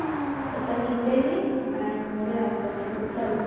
आता लिहते मी आणि म उदया दाखवते चल मग